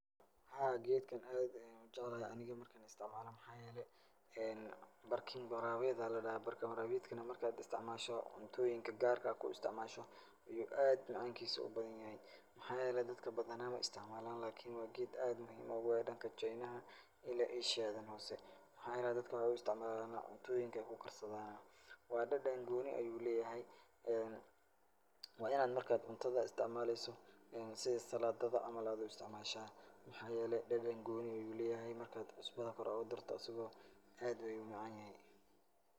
Haa, geedkan aad ayaan u jeclahay aniga marka aan istacmaalo. Maxaa yeelay, ee barkin waraabeed ayaa ladhahaa. Barkin waraabeedkana marka aad istacmaasho cuntooyinka gaarka ah aad ku istacmaasho yuu aad macankiisa u badanyahay. Maxaa yeelay, dadka badana ma istacmaalaan lakini waa geed aad u muhiim ugu ah dhanka chaynaha ila eeshiyadan hoose. Maxaa yeelay dadka waxaay u istacmaalaan cuntooyinka ayaay ku karsadaan. Waa dhadhan qooni ayuu leeyahay ee waa in aad marka aad cuntada istacmaalayso sida salaadada camal aad u istacmaashaa. Mac=xaa yeelay, dhadhan gooni leeyahay marka aad cusbada kor aad ugu darto asigo aad ayuu u macaanyahay.